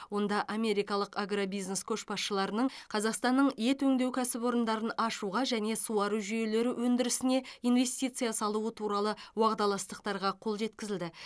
онда америкалық агробизнес көшбасшыларының қазақстанның ет өңдеу кәсіпорындарын ашуға және суару жүйелері өндірісіне инвестиция салуы туралы уағдаластықтарға қол жеткізілді